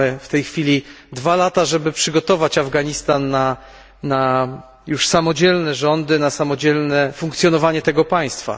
Mamy w tej chwili dwa lata, żeby przygotować Afganistan na samodzielne rządy, na samodzielne funkcjonowanie tego państwa.